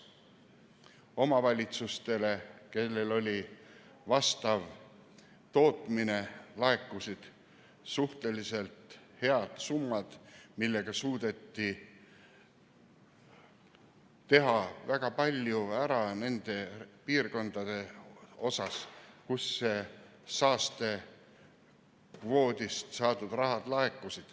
Omavalitsustele, kellel oli vastav tootmine, laekusid suhteliselt head summad, millega suudeti teha väga palju ära nendes piirkondades, kus saastekvoodist saadud raha laekus.